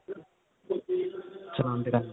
ਚਲਾਂਦੇ ਏ